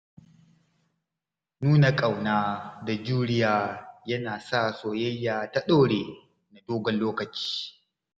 Nuna ƙauna da juriya yana sa soyayya ta ɗore na dogon lokaci.